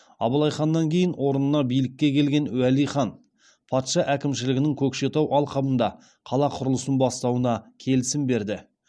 абылай ханнан кейін орнына билікке келген уәли хан патша әкімшілігінің көкшетау алқабында қала құрылысын бастауына келісім берді